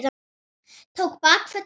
Tók bakföll af hlátri.